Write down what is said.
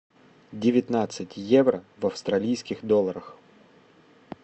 девятнадцать евро в австралийских долларах